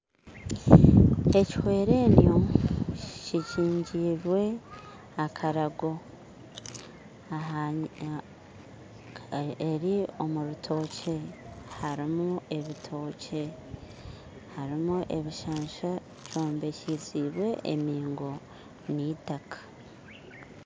Ekihwerennyo kikingirwe akarago aha eri omurutookye harimu ebitookye harimu ebishansha byombekyisibwe embingo nittaka